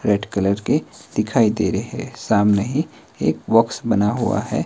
Red colour के दिखाई दे रहे हैं सामने ही एक बॉक्स बना हुआ है।